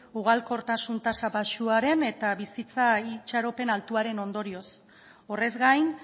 ugalkortasun tasa baxuaren eta bizitza itxaropen altuaren ondorioz horrez gain